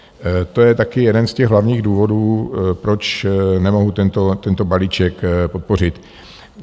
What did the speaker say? To je taky jeden z těch hlavních důvodů, proč nemohu tento balíček podpořit.